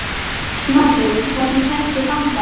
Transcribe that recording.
Snorri, hvernig kemst ég þangað?